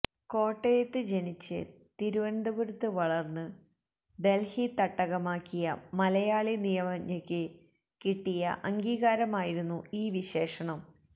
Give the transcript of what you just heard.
കോട്ടയത്ത് ജനിച്ച് തിരുവനന്തപുരത്ത് വളര്ന്ന് ഡല്ഹി തട്ടകമാക്കിയ മലയാളി നിയമജ്ഞയ്ക്ക് കിട്ടിയ അംഗീകാരമായിരുന്നു് ഈ വിശേഷണം